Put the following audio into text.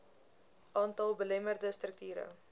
aantal belemmerende strukture